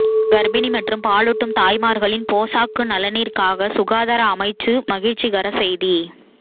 கர்ப்பிணி மற்றும் பாலூட்டும் தாய்மார்களின் போசாக்கு நலனிற்காக சுகாதார அமைச்சு மகிழ்ச்சிகர செய்தி